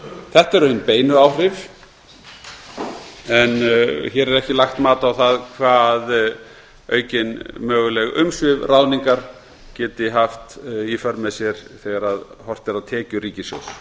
þetta eru hin beinu áhrif en hér er ekki lagt mat á það hvað aukin möguleg umsvif og ráðningar geta haft í för með sér þegar horft er á tekjur